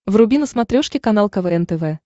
вруби на смотрешке канал квн тв